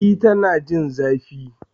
E, Tana jin zafi